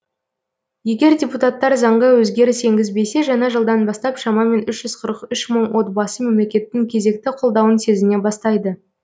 егер депутаттар заңға өзгеріс енгізбесе жаңа жылдан бастап шамамен үш жүз қырық үш мың отбасы мемлекеттің кезекті қолдауын сезіне бастайды